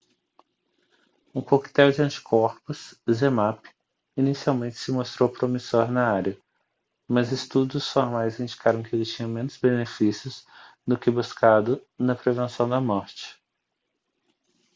um coquetel de anticorpos zmapp inicialmente se mostrou promissor na área mas estudos formais indicaram que ele tinha menos benefícios do que buscado na prevenção da morte